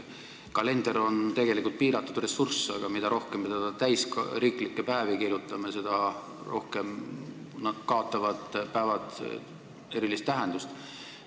Kalender on tegelikult piiratud ressurss, aga mida rohkem me kirjutame teda täis riiklikke päevi, seda rohkem kaotavad päevad erilist tähendust.